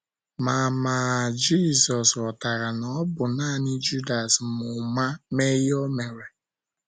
Ma Ma Jizọs ghọtara na ọ bụ nanị Judas ma ụma mee ihe o mere.